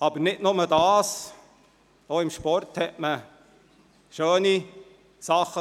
Es gab nicht nur dies, man konnte im Sport Schönes erleben.